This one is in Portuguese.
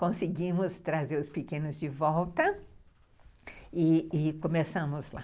Conseguimos trazer os pequenos de volta e e começamos lá.